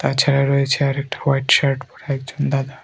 তাছাড়া রয়েছে আরেকটা হোয়াইট শার্ট পরা একজন দাদা।